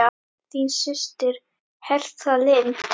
Þín systir, Hertha Lind.